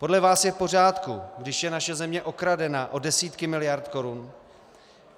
Podle vás je v pořádku, když je naše země okradena o desítky miliard korun?